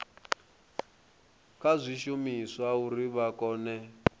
kha zwishumiswa uri vha kone